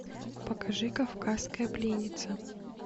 покажи кавказская пленница